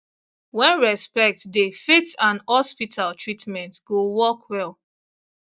when respect dey faith and hospital treatment go work well